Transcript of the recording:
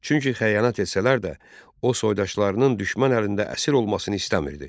Çünki xəyanət etsələr də, o soydaşlarının düşmən əlində əsir olmasını istəmirdi.